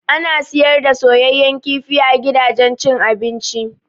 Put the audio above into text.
Ana siyar da soyayyan kifi a gidajen cin abinci.